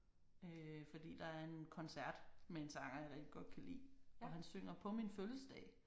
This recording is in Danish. Øh fordi der er en koncert med en sanger jeg rigtig godt kan lide og han synger på min fødselsdag